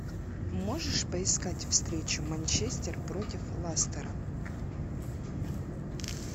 можешь поискать встречу манчестер против лестера